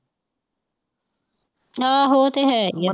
ਆਹੋ ਓ ਤੇ ਹੈ ਹੀ ਐ।